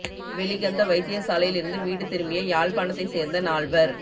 வெலிகந்த வைத்தியசாலையில் இருந்து வீடு திரும்பிய யாழ்ப்பாணத்தை சேர்ந்த நால்வர்